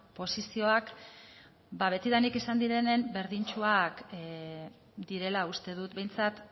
posizioak betidanik izan direnen berdintsuak direla uste dut behintzat